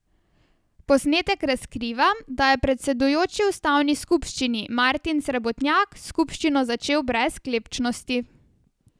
Posnetek razkriva, da je predsedujoči ustanovni skupščini Martin Srebotnjak skupščino začel brez sklepčnosti.